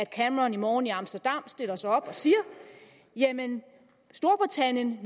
cameron i morgen i amsterdam stiller sig op og siger jamen storbritannien